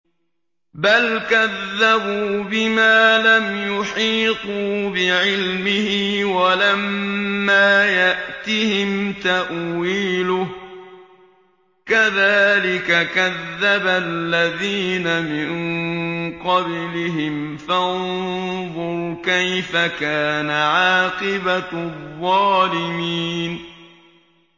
بَلْ كَذَّبُوا بِمَا لَمْ يُحِيطُوا بِعِلْمِهِ وَلَمَّا يَأْتِهِمْ تَأْوِيلُهُ ۚ كَذَٰلِكَ كَذَّبَ الَّذِينَ مِن قَبْلِهِمْ ۖ فَانظُرْ كَيْفَ كَانَ عَاقِبَةُ الظَّالِمِينَ